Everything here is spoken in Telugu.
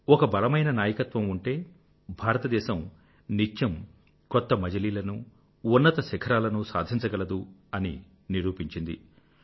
ఒక బలమైన నాయకత్వం ఉంటే భారతదేశం నిత్యం కొత్త మజిలీలను ఉన్నత శిఖరాలనూ సాధించగలదు అని నిరూపించింది